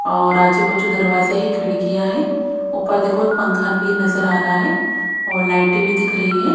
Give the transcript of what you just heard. और आजू बाजू दरवाजे हैं खिड़कियां हैं ऊपर देखो एक पंखा भी नजर आ रहा है और लाइटें भी दिख रही है।